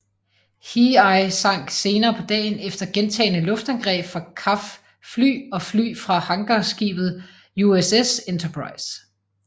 Hiei sank senere på dagen efter gentagne luftangreb fra CAF fly og fly fra hangarskibet USS Enterprise